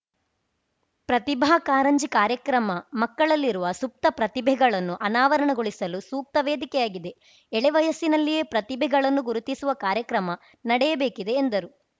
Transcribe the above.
ಪ್ರತಿಭಾ ಕಾರಂಜಿ ಕಾರ್ಯಕ್ರಮ ಮಕ್ಕಳಲ್ಲಿರುವ ಸುಪ್ತ ಪ್ರತಿಭೆಗಳನ್ನು ಅನಾವರಣಗೊಳಿಸಲು ಸೂಕ್ತ ವೇದಿಕೆಯಾಗಿದೆ ಎಳೆ ವಯಸ್ಸಿನಲ್ಲಿಯೇ ಪ್ರತಿಭೆಗಳನ್ನು ಗುರುತಿಸುವ ಕಾರ್ಯಕ್ರಮ ನಡೆಯಬೇಕಿದೆ ಎಂದರು